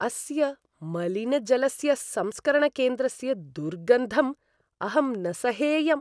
अस्य मलिनजलस्य संस्करणकेन्द्रस्य दुर्गन्धं अहं न सहेयम्।